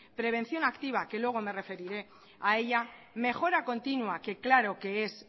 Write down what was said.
prevención activa que luego me referiré a ella mejora continua que claro que es